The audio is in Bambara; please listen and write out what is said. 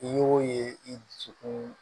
I y'o ye i dusukun